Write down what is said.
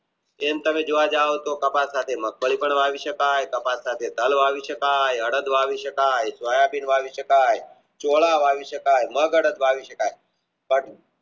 એમ તમે જોવા જાવ તો તપાસવાથી કઈ પણ વાવી શકાય તપાસવાથી ટાળો આવી શકાય સોયાબીન વાવી શકાય ચોળા વાવી શકાય મગ અડદ વાવી શકાય